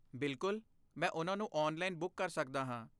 ਬਿਲਕੁਲ, ਮੈਂ ਉਹਨਾਂ ਨੂੰ ਔਨਲਾਈਨ ਬੁੱਕ ਕਰ ਸਕਦਾ ਹਾਂ।